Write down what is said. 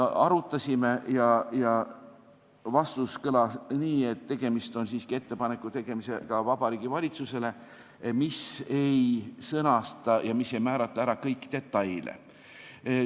Arutasime seda ja vastus kõlas nii, et tegemist on siiski Vabariigi Valitsusele tehtava ettepanekuga, mis ei sõnasta ega määra ära kõiki detaile.